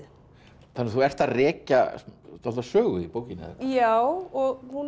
þannig að þú ert að rekja dálitla sögu í bókinni já og hún er